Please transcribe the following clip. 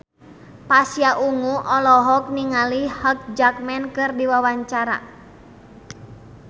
Pasha Ungu olohok ningali Hugh Jackman keur diwawancara